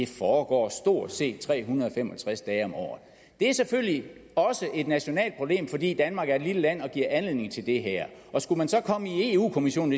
foregår stort set tre hundrede og fem og tres dage om året det er selvfølgelig et nationalt problem fordi danmark er et lille land og det giver anledning til det her skulle man så komme i europa kommissionen